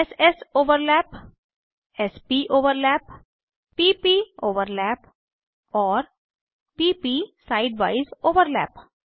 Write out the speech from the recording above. s sओवरलैप s pओवरलैप p pओवरलैप और p प side वाइज ओवरलैप